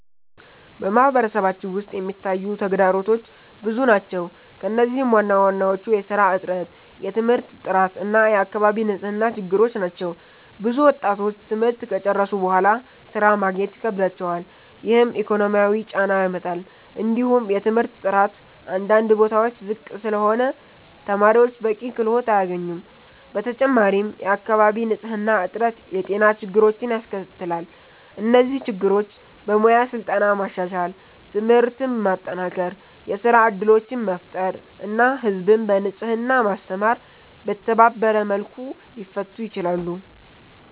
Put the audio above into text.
በማህበረሰባችን ውስጥ የሚታዩ ተግዳሮቶች ብዙ ናቸው፣ ከእነዚህም ዋናዎቹ የሥራ እጥረት፣ የትምህርት ጥራት እና የአካባቢ ንጽህና ችግሮች ናቸው። ብዙ ወጣቶች ትምህርት ከጨረሱ በኋላ ሥራ ማግኘት ይከብዳቸዋል፣ ይህም ኢኮኖሚያዊ ጫና ያመጣል። እንዲሁም የትምህርት ጥራት አንዳንድ ቦታዎች ዝቅ ስለሆነ ተማሪዎች በቂ ክህሎት አያገኙም። በተጨማሪም የአካባቢ ንጽህና እጥረት የጤና ችግሮችን ያስከትላል። እነዚህ ችግሮች በሙያ ስልጠና ማሻሻል፣ ትምህርትን ማጠናከር፣ የሥራ እድሎችን መፍጠር እና ህዝብን በንጽህና ማስተማር በተባበረ መልኩ ሊፈቱ ይችላሉ።